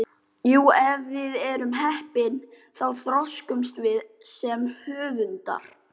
Jú, ef við erum heppin þá þroskumst við sem höfundar.